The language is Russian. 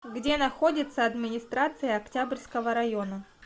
где находится администрация октябрьского района